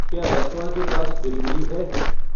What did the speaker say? क्या रेस्टौरां के पास डिलिवरी है